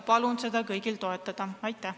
Palun seda kõigil toetada!